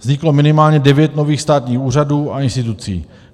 Vzniklo minimálně devět nových státních úřadů a institucí.